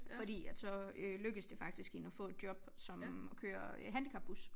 Fordi at så øh lykkedes det faktisk hende at få et job som at køre handicapbus